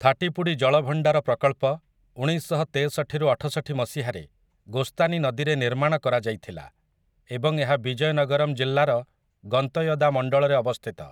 ଥାଟିପୁଡ଼ି ଜଳଭଣ୍ଡାର ପ୍ରକଳ୍ପ ଉଣେଇଶଶହ ତେଷଠିରୁ ଅଠଷଠି ମସିହାରେ ଗୋସ୍ତାନୀ ନଦୀରେ ନିର୍ମାଣ କରାଯାଇଥିଲା, ଏବଂ ଏହା ବିଜୟନଗରମ୍ ଜିଲ୍ଲାର ଗନ୍ତୟଦା ମଣ୍ଡଳରେ ଅବସ୍ଥିତ ।